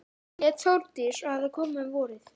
Hún hét Þórdís og hafði komið um vorið.